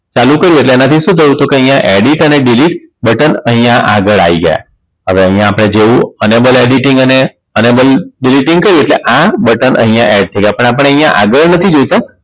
ચાલી કરું એટલે એના થી શું થયું તું કે અહીંયા Edit અને Delete બટન અહીંયા આગળ આવી ગય હવે અહીંયા આપણે જોયું અને Double editing અને Enable editing કરીયે એટલે આ બટન અહીંયા add થી થઈ જાય પણ આપણે અહીંયા આગળ નથી જોયતું